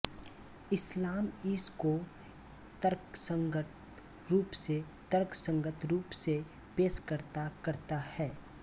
इस्लाम इस को तर्कसंगत रूप से तर्कसंगत रूप से पेश करता करता है